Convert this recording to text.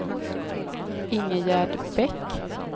Ingegerd Bäck